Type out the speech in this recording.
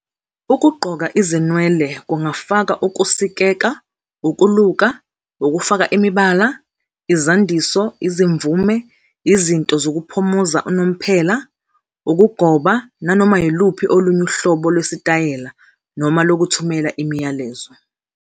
Ukugqoka izinwele kungafaka ukusikeka, ukuluka, ukufaka imibala, izandiso, izimvume, izinto zokuphumuza unomphela, ukugoba, nanoma yiluphi olunye uhlobo lwesitayela noma lokuthumela imiyalezo.